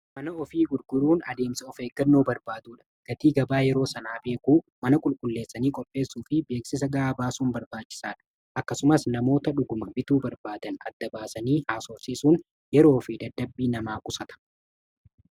mana ofii gurguruun adeemsa of eeggannoo barbaaduudha gatii gabaa yeroo sanaa beekuu mana qulqulleessanii qopheessuu fi beeksisa ga'aa baasuun barbaachisaadha akkasumas namoota dhuguma bituu barbaadan adda-baasanii haasoorsiisuun yeroo fi daddabii namaa qusata